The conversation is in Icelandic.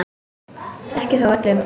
Ekki þó öllum.